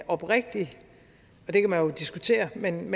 oprigtig og det kan man jo diskutere men